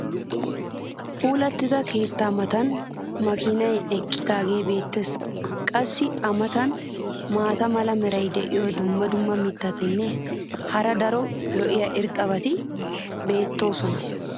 puulattida keettaa matan makiinay eqidaagee beetees. qassi a matan maata mala meray diyo dumma dumma mitatinne hara daro lo'iya irxxabati beetoosona.